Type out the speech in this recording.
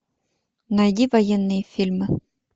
найди военные фильмы